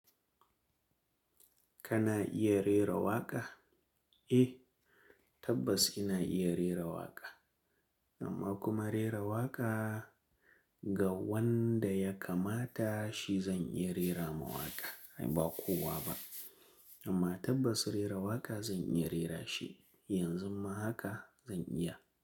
Kana iya rera waƙa? Eh, tabbas ina iya rera waƙa. Amma kuma rera waƙa ga wanda ya kamata shi zan iya rera ma waƙa, ai ba kowa ba. Amma tabbas rera waƙa zan iya rera shi. Yanzu ma haka zan iya.